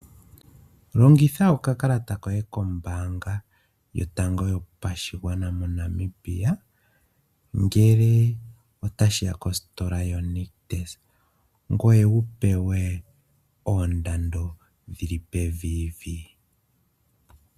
Longitha okakalata koye kombaanga yotango yopashigwana moNamibia ngele otashi ya kositola yoNictus, ngoye wu pewe oondando dhili pevi vi.